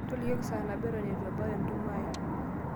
tolikioki saa nabo eton ebau entumo aai